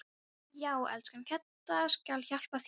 Já, elskan, Gedda skal hjálpa þér